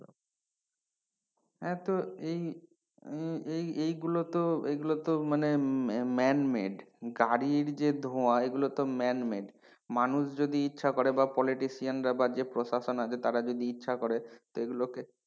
হ্যাঁ তো এই এইগুলো তো এগুলো তো মানে man made গাড়ির যে ধোয়া এগুলো তো man made মানুষ যদি ইচ্ছা করে বা politician রা বা যে প্রশাসন আছে তারা যদি ইচ্ছা করে তো এগুলোকে,